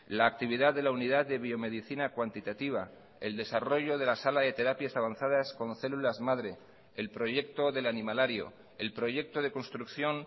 la actividad de la unidad de biomedicina cuantitativa el desarrollo de la sala de terapias avanzadas con células madre el proyecto del animalario el proyecto de construcción